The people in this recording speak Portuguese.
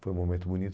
Foi um momento bonito.